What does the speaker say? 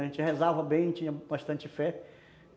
A gente rezava bem, tinha bastante fé.